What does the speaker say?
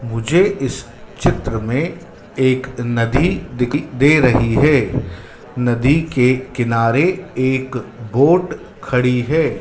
मुझे इस चित्र में एक नदी दिख दे रही है नदी के किनारे एक बोट खड़ी है।